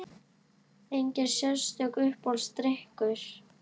Engin sérstök Uppáhaldsdrykkur?